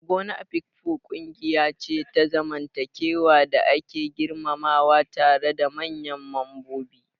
Ogo na Afikpo ƙungiya ce ta zamantakewa da ake girmamawa tare da manyan mambobi.